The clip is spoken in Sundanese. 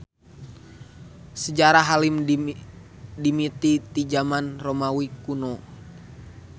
Sajarah helem dimimiti ti jaman Romawi kuno.